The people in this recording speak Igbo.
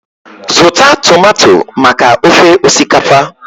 Zụta tomato maka ofe osikapa!